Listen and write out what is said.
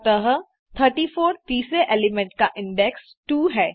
अतः 34 तीसरे एलिमेंट का इंडेक्स 2 है